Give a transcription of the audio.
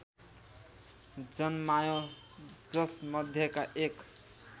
जन्मायो जसमध्येका एक